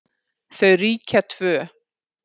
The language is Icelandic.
Þau ríkja tvö.